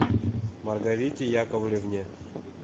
маргарите яковлевне